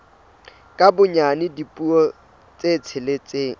ka bonyane dipuo tse tsheletseng